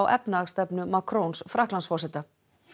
efnahagsstefnu Frakklandsforseta